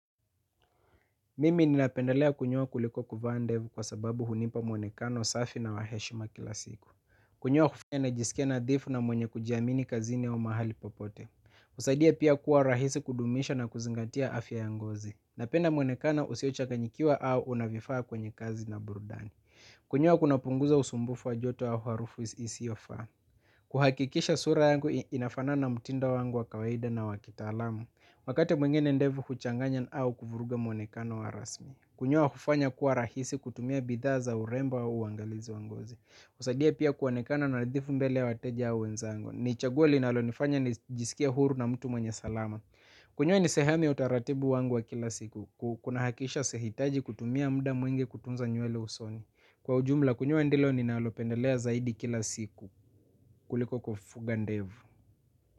Mimi ninapendelea kunyoa kuliko kuvaa ndevu kwa sababu hunipa mwonekano safi na wa heshima kila siku. Kunyoa hunifanya nijisikia nadhifu na mwenye kujiamini mahali popote husaidia pia kuwa rahisi kudumisha na kuzingatia afya ya ngozi. Napenda mwonekano usiochanganyikiwa au unavyofaa kwenye kazi na burudani. Kunyoa kuna punguza usumbufu wa joto au harufu isiyofaa. Kuhakikisha sura yangu inafanana na mtindo wangu wa kawaida na wa kitaalamu. Wakati mwingine ndevu kuchanganya na au kuvuruga mwonekano wa rasmi. Kunyoa kufanya kuwa rahisi kutumia bidhaa za urembo wa uangalizi wa ngozi. Husaudia pia kuonekana na nadhifu mbele ya wateja au wenzangu. Ni chaguo linalonifanya nijisikie huru na mtu mwenye salama. Kunyoa ni sehemi ya utaratibu wangu wa kila siku. Kuna hakikisha usiehitaji kutumia muda mwingi kutunza nywele usoni. Kwa ujumla kunyoa ndilo ninalo pendelea zaidi kila siku kuliko kufuga ndevu.